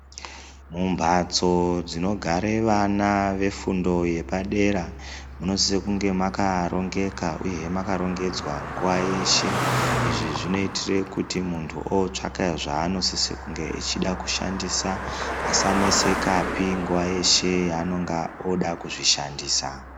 Mumbatso dzinogare vana vafundo yepadera munosisa kunge makarongeka uyehe makarongodzwa nguva yeshe. Izvi zvinoitire kuti muntu ootsvaka zvaanosise kunge echida kushandisa asanesekapi nguva yeshe yaanonga ooda kuzvishandisa.